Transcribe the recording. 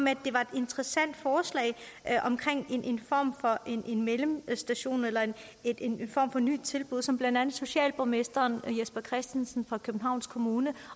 at det var et interessant forslag om en form for mellemstation eller en form for nyt tilbud som blandt andet socialborgmesteren jesper christensen fra københavns kommune